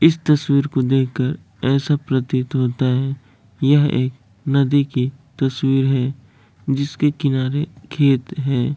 इस तस्वीर को देख कर ऐसा प्रतीत होता है यहाँ एक नदी की तस्वीर है जिसके किनारे खेत हैं ।